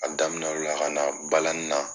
Ka daminɛ o de la ka na balanin la